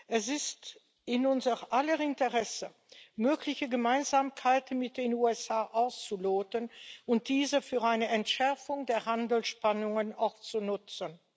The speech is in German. Es ist in unser aller Interesse, mögliche Gemeinsamkeiten mit den USA auszuloten und diese für eine Entschärfung der Handelsspannungen auch zu nutzen.